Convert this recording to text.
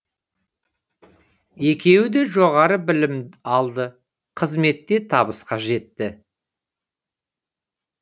екеуі де жоғары білім алды қызметте табысқа жетті